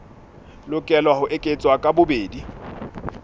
lokela ho eketswa ka bobedi